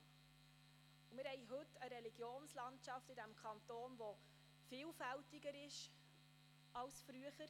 Heute haben wir haben in diesem Kanton eine Religionslandschaft, die vielfältiger ist als früher.